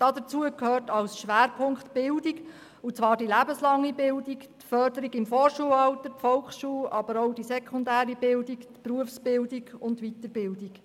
Dazu gehört als Schwerpunkt die Bildung, und zwar die lebenslange Bildung, die Förderung im Vorschulalter, die Volksschule, aber auch die sekundäre Bildung, die Berufsbildung und die Weiterbildung.